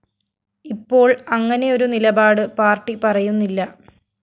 ഇപ്പോള്‍ അങ്ങനെയൊരു നിലപാട് പാര്‍ട്ടി പറയുന്നില്ല